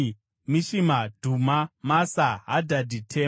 Mishima, Dhuma, Masa, Hadhadhi, Tema,